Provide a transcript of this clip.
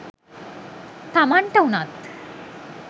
තමන්ට වුනත්